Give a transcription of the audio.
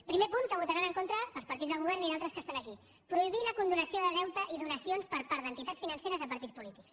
primer punt que hi votaran en contra els partits del govern i altres que estan aquí prohibir la condonació de deute i donacions per part d’entitats financeres a partits polítics